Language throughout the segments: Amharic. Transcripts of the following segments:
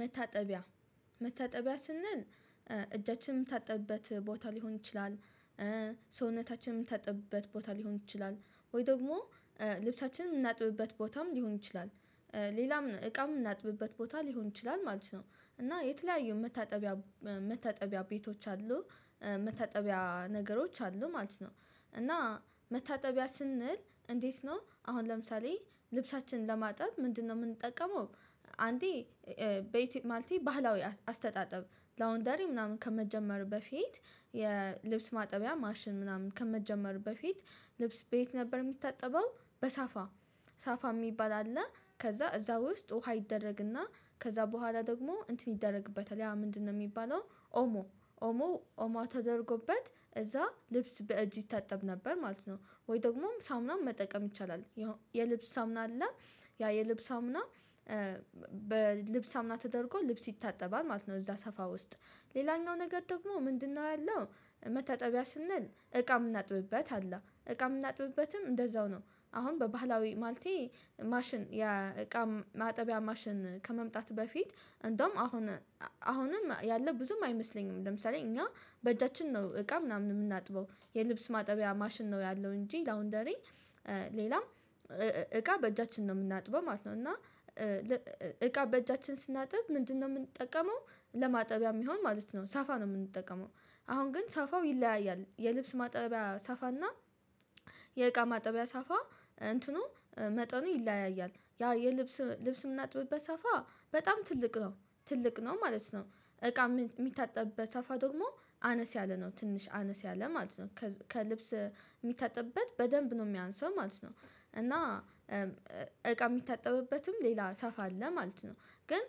መታጠቢያ መታጠቢያ ስንል እጃችን ምንታጠብበት ቦታ ሊሆን ይችላል። ሰውነታችንም ምንታጠብበት ቦታ ሊሆን ይችላል ወይ ደግሞ ልብሳችንን ምናጥብበት ቦታም ሊሆን ይችላል። ሌላም እቃም ምናጥብበት ቦታ ሊሆን ይችላል ማለት ነው። እና የተለያዩ መታጠቢያ መታጠቢያ ቤቶች አሉ መታጠቢያ ነገሮች አሉ ማለት ነው። እና መታጠቢያ ስንል እንዴት ነው አሁን ለምሳሌ ልብሳችን ለማጠብ ምንድነው ምንጠቀመው? አንዴ ማለቴ ባህላዊ አስተጣጠብ ላውንደሪ ምናምን ከመጀመር በፊት የልብስ ማጠቢያ ማሽን ምናምን ከመጀመሩ በፊት። ልብስ በየት ነበር ሚታጠበው በሳፋ ሳፋ ሚባል አለ። ከዛ እዛ ውስጥ ውሃ ይደረግና ከዛ በኋላ ደግሞ እንትን ይደረግበታል ያ ምንድነው ሚባለው? ኦሞ ኦሞ ኦሞ ተደርጎበት እዛ ልብስ በእጅ ይታጠብ ነበር ማለት ነው። ወይ ደግሞም ሳሙናም መጠቀም ይቻላል። የልብስ ሳሙና አለ። ያ የልብስ ሳሙና በልብስ ሳሙና ተደርጎ ልብስ ይታጠባል ማለት ነው። እዛ ሳፋ ውስጥ ሌላኛው ነገር ደግሞ ምንድነው ያለው? መታጠቢያ ስንል እቃ ምናጥብበት አለ እቃ ምናጥብበትም እንደዛው ነው። አሁን በባህላዊ ማለቴ ማሽን ያ እቃ ማጠቢያ ማሽን ከመምጣት በፊት እንደውም አሁን አሁንም ያለ ብዙም አይመስለኝም። ለምሳሌ እኛ በእጃችን ነው እቃ ምናምን ምናጥበው የልብስ ማጠቢያ ማሽን ነው ያለው እንጂ ላውንደሪ ሌላም እቃ በእጃችን ነው ምናጥበው ማለት ነው። እና እቃ በእጃችን ስናጥብ ምንድነው ምንጠቀመው? ለማጠቢያ ሚይሆን ማለት ነው ሳፋ ነው ምንጠቀመው። አሁን ግን ሳፋው ይለያያል የልብስ ማጠቢያ ሳፋና። የእቃ ማጠቢያ ሳፋ እንትኑ መጠኑ ይለያያል ያ የልብስ ልብስ ምናጥብበት ሳፋ በጣም ትልቅ ነው። ትልቅ ነው ማለት ነው እቃ ሚታጠብበት ሳፋ ደግሞ አነስ ያለ ነው ትንሽ አነስ ያለ ማለት ነው። ከልብስ ሚታጠብበት በደንብ ነው ሚያንስው ማለት ነው። እና እቃ ሚታጠብበትም ሌላ ሳፋ አለ ማለት ነው። ግን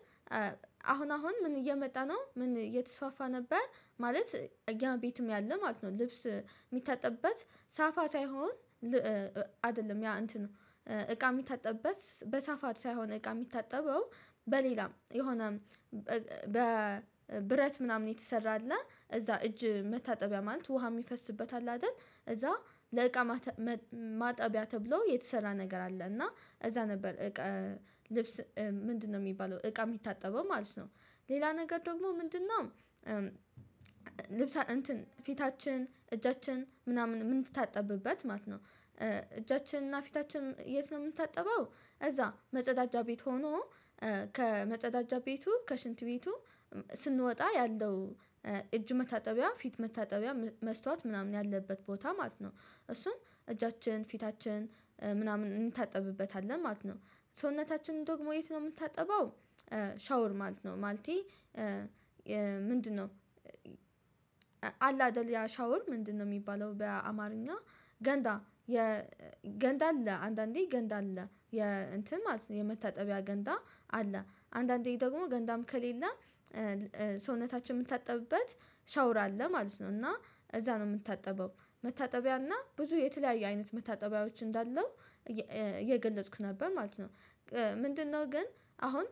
አሁን አሁን ምን እየመጣ ነው ምን እየተስፋፋ ነበር ማለት ያ ቤትም ያለ ማለት ነው። ልብስ ሚታጠብበት ሳፋ ሳይሆን አደለም ያ እንትን ነው። እቃ ሚታጠብበት በሳፋ ሳይሆን እቃ ሚታጠበው በሌላም የሆነ በብረት ምናምን የተሰራ አለ። እዛ እጅ መታጠቢያ ማለት ውሃ ሚፈስበት አለ አደል እዛ ለእቃ ማጠቢያ ተብሎ የተሰራ ነገር አለ። እና እዛ ነበር እቃ ልብስ ምንድነው ሚባለው እቃ ሚታጠበው ማለት ነው። ሌላ ነገር ደግሞ ምንድነው? ልብሳ እንትን ፊታችን እጃችን ምናምን ምንታጠብበት ማለት ነው። እጃችንና ፊታችን የት ነው ምንታጠበው? እዛ መጸዳጃ ቤት ሆኖ ከመጸዳጃ ቤቱ ከሽንት ቤቱ ስንወጣ ያለው እጅ መታጠቢያ ፊት መታጠቢያ መስታወት ምናምን ያለበት ቦታ ማለት ነው። እሱም እጃችን ፊታችን ምናምን ምንታጠብበት አለ ማለት ነው። ሰውነታችን ደግሞ የት ነው ምንታጠበው? ሻወር ማለት ነው። ማለቴ ምንድነው? አለ አደል ያ ሻወር ምንድነው ሚባለው በአማርኛ? ገንዳ የገንዳ አለ አንዳንዴ ገንዳ አለ የእንትን ማለት ነው። የመታጠቢያ ገንዳ አለ አንዳንዴ ደግሞ ገንዳም ከሌለ ሰውነታችን ምንታጠብበት ሻወር አለ ማለት ነው። እና እዛ ነው ምታጠበው መታጠቢያ እና ብዙ የተለያየ አይነት መታጠቢያዎች እንዳለው እየገለጽኩ ነበር ማለት ነው። ምንድነው ግን አሁን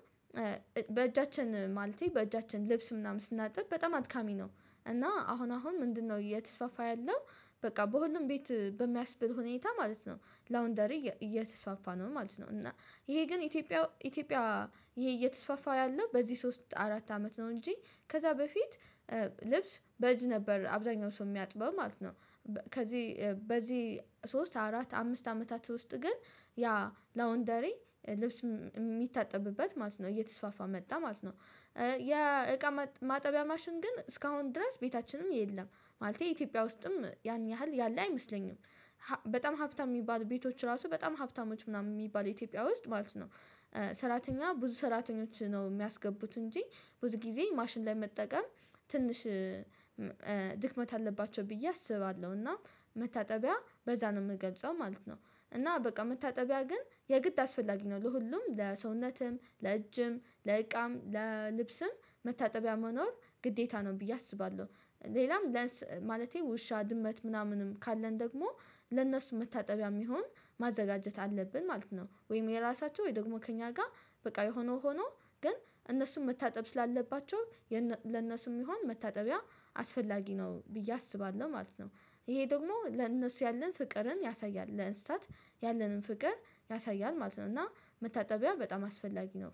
በእጃችን ማለቴ በእጃችን ልብስ ምናምን ስናጥብ በጣም አድካሚ ነው። እና አሁን አሁን ምንድነው እየተስፋፋ ያለው? በቃ በሁሉም ቤት በሚያስብል ሁኔታ ማለት ነው። ላውንደሪ እየተስፋፋ ነው ማለት ነው። እና ይሄ ግን ኢትዮጵያ ኢትዮጵያ ይሄ እየተስፋፋ ያለው በዚ ሶስት አራት አመት ነው እንጂ ከዛ በፊት ልብስ በእጅ ነበር አብዛኛው ሰው ሚያጥበው ማለት ነው። ከዚ በዚ ሶስት አራት አምስት አመታት ውስጥ ግን ያ ላውንደሪ ልብስ ሚታጠብበት ማለት ነው እየተስፋፋ መጣ ማለት ነው። ያ እቃ ማጠቢያ ማሽን ግን እስካሁን ድረስ ቤታችንም የለም። ማለቴ ኢትዮጵያ ውስጥም ያን ያህል ያለ አይመስለኝም። በጣም ሀብታም ሚባሉ ቤቶች ራሱ በጣም ሀብታሞች ምናምን ሚባሉ ኢትዮጵያ ውስጥ ማለት ነው። ሰራተኛ ብዙ ሰራተኞች ነው ሚያስገቡት እንጂ ብዙ ጊዜ ማሽን ላይ መጠቀም ትንሽ ድክመት አለባቸው ብዬ አስባለው እና መታጠቢያ በዛ ነው ምገልጸው ማለት ነው። እና በቃ መታጠቢያ ግን የግድ አስፈላጊ ነው ለሁሉም ለሰውነትም ለእጅም ለእቃም ለልብስም መታጠቢያ መኖር ግዴታ ነው ብዬ አስባለው። ሌላም ማለቴ ውሻ ድመት ምናምንም ካለን ደግሞ ለእነሱ መታጠቢያ ሚሆን ማዘጋጀት አለብን ማለት ነው። ወይም የራሳቸው ወይ ደግሞ ከእኛ ጋር በቃ የሆነው ሆኖ ግን እነሱን መታጠብ ስላለባቸው ለእነሱ ሚሆን መታጠቢያ አስፈላጊ ነው ብዬ አስባለው ማለት ነው። ይሄ ደግሞ ለነሱ ያለን ፍቅርን ያሳያል ለእንስሳት ያለንን ፍቅር ያሳያል ማለት ነው። እና መታጠቢያ በጣም አስፈላጊ ነው።